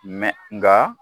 nka